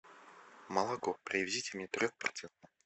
молоко привезите мне трех процентное